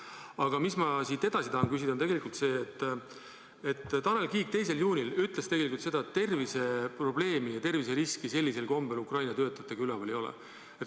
Aga tegelikult ma tahan edasi küsida seda, et Tanel Kiik ütles 2. juunil, et terviseprobleemi ja terviseriski Ukraina töötajate puhul ei ole.